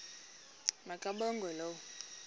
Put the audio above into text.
ma kabongwe low